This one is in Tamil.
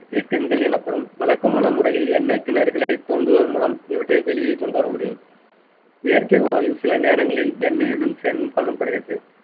இயக்கங்கள் எனப்படும் வழக்கமான முறையில் எண்ணெய் கிணறுகளை தோண்டுவதன் மூலம் இவற்றை வெளியே கொண்டு வர முடியும் இயற்கை வாயு சில நேரங்களில் எண்ணெயுடன் சேர்ந்தும் காணப்படுகிறது